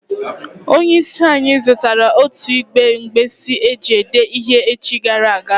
Onye is anyi zutara otu igbe nkpisi eji ede ihe echi gara aga